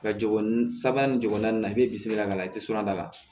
Ka jogo ni sabanan ni ɲɔgɔnna i bɛ bisimila k'a la i tɛ sɔn a la